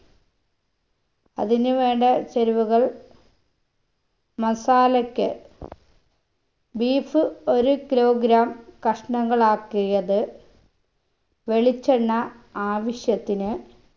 അതിനു വേണ്ട ചേരുവകൾ masala ക്ക് beef ഒരു kilogram കഷ്ണങ്ങളാക്കിയത് വെളിച്ചെണ്ണ ആവിശ്യത്തിന്